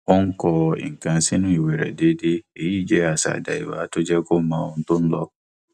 ó ń kọ nǹkan sínú ìwé rẹ déédéé èyí jẹ àṣà àdáyéba tó jẹ kó mọ ohun tó ń lọ